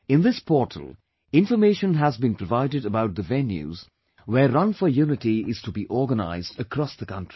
In this portal, information has been provided about the venues where 'Run for Unity' is to be organized across the country